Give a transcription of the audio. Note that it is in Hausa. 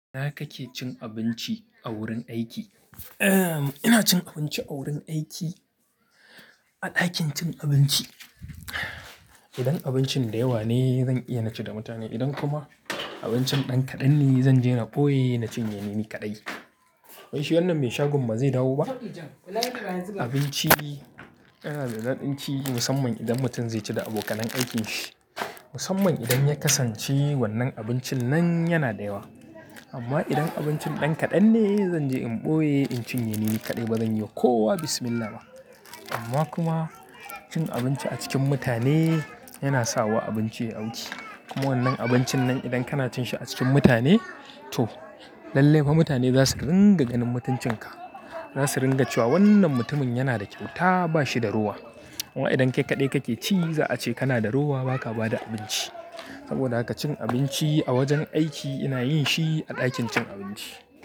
Ina kake cin abinci a wurin aiki? Ina cin abinci a wurin aiki a ɗakin cin abinci. Idan abincin da yawa ne, zan iya na ci da mutane. Idan kuma abincin ɗan kaɗan ne, zan je na ɓoye na cinye ni kaɗai. Wai shi wannan mai shagon ba zai dawo ba? Abinci yana da daɗin ci musamman idan mutum zai ci da abokanan aikin shi. Musamman idan ya kasance wannan abincin nan yana da yawa. Amma idan abincin ɗan kaɗan ne, zanje in ɓoye in cinye ni kaɗai. Ba zan yi kowa Bismillah ba. Amma kuma cin abinci a cikin mutane yana sawa abinci yai auki kuma wannan abincin idan kana cin shi a cikin mutane to lallai fa mutane za su ringa ganin mutuncin ka. Za su ringa cewa wannan mutumin yana da kyauta ba shi da rowa. Amma idan kai kaɗai kake ci, za a ce kana da rowa baka ba da abinci. Saboda haka cin abinci a wajen aiki ina yin shi a ɗakin cin abinci.